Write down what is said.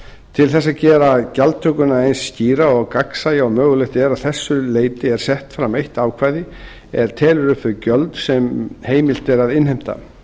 til þess að gera gjaldtökuna eins skýra og og gagnsæja og mögulegt er að þessu leyti er sett fram eitt ákvæði er telur upp þau gjöld sem heimilt er að innheimta